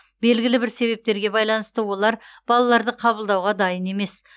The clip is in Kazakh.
белгілі бір себептерге байланысты олар балаларды қабылдауға дайын емес